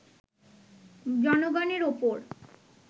জনগণের ওপর